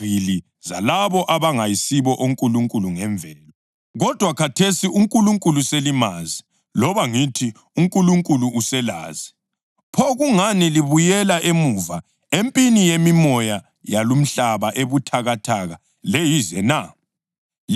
Kodwa khathesi uNkulunkulu selimazi, loba ngithi uNkulunkulu uselazi, pho kungani libuyela emuva empini yemimoya yalumhlaba ebuthakathaka leyize na? Liyafisa ukuthi ligqilazwe yiyo njalo na?